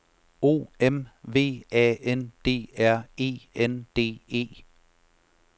O M V A N D R E N D E